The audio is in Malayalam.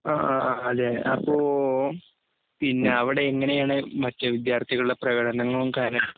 അ ആ അതെ അപ്പൊ പിന്നെ അവിടെ എങ്ങനെയാണ് വിദ്യാർത്ഥികളുടെപ്രകടനങ്ങളും കാര്യങ്ങളും ഒക്കെ.